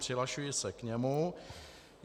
Přihlašuji se k němu.